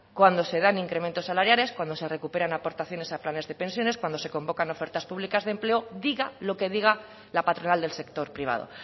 cuando se dan incrementos salariales cuando se recuperan aportaciones a planes de pensiones cuando se convocan ofertas públicas de empleo diga lo que diga la patronal del sector privado